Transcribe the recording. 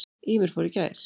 Ýmir fór í gær.